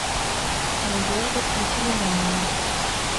надежда пантелеймоновна